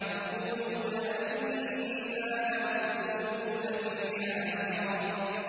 يَقُولُونَ أَإِنَّا لَمَرْدُودُونَ فِي الْحَافِرَةِ